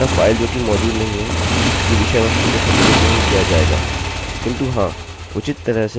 अतः फाइल जो की मौजूद नहीं है उसकी विषयवस्तु को सम्मिलित नहीं किया जाएगा